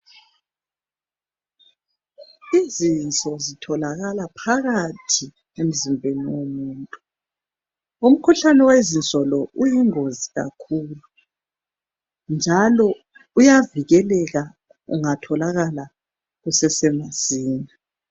Izinso zitholakala phakathi emzimbeni womuntu. Umkhuhlane wezinso lo uyingozi kakhulu, njalo uyavikeleka ungatholakala kusesemasinya.